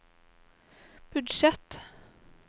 budsjett